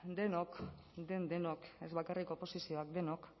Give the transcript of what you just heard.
denok den denok ez bakarrik oposizioak denok